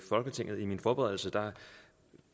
folketinget under min forberedelse